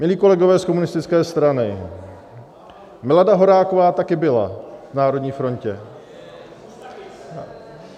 Milí kolegové z komunistické strany, Milada Horáková taky byla v Národní frontě.